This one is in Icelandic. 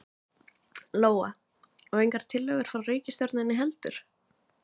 Lóa: Og engar tillögur frá ríkisstjórninni heldur?